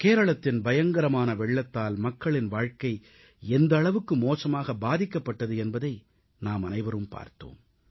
கேரளத்தின் பயங்கரமான வெள்ளத்தால் மக்களின் வாழ்க்கை எந்த அளவுக்கு மோசமாக பாதிக்கப்பட்டது என்பதை நாமனைவரும் பார்த்தோம்